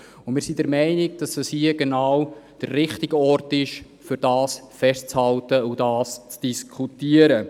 Und hier ist es genau der richtige Ort, um dies festzuhalten und darüber zu diskutieren.